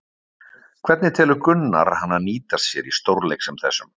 Hvernig telur Gunnar hana nýtast sér í stórleik sem þessum?